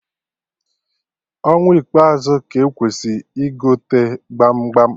Ọnwa ikpeazu ka-ekwesị igote gbam gbam